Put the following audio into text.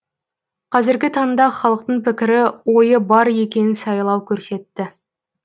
қазіргі таңда халықтың пікірі ойы бар екенін сайлау көрсетті